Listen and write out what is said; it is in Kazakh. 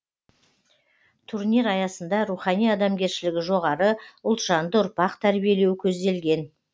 турнир аясында рухани адамгершілігі жоғары ұлтжанды ұрпақ тәрбиелеу көзделген